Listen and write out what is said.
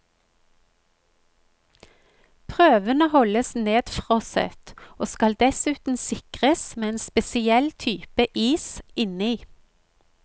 Prøvene holdes nedfrosset, og skal dessuten sikres med en spesiell type is inni.